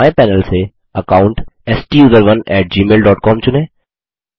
बाएं पैनल से account TUSERONEgmail dot com चुनें